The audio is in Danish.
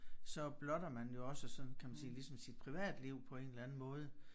Så blotter man jo også sådan kan man sige ligesom sit privatliv på en eller anden måde